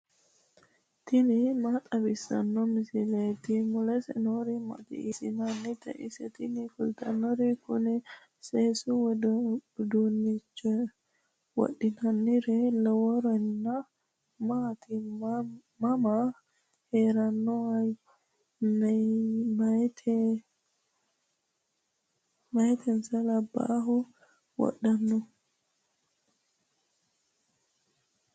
tini maa xawissanno misileeti ? mulese noori maati ? hiissinannite ise ? tini kultannori kuni seesaho wodhinannire lawannori maati mama heeranno meyatinso labbahu wodhanno